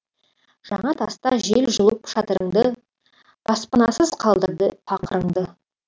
жаңатаста жел жұлып шатырыңды баспанасыз қалдырды пақырыңды